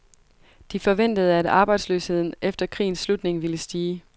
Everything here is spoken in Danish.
De forventede, at arbejdsløsheden efter krigens slutning ville stige.